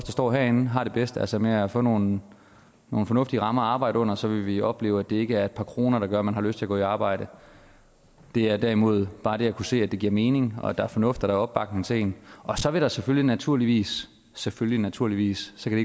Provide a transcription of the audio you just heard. står herinde har det bedst altså med at få nogle nogle fornuftige rammer at arbejde under så vil vi opleve at det ikke er et par kroner der gør at man har lyst til at gå i arbejde det er derimod bare det at kunne se at det giver mening og at der er fornuft og opbakning til en så vil der selvfølgelig naturligvis selvfølgelig naturligvis så kan